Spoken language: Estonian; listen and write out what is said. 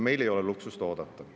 Meil ei ole luksust oodata.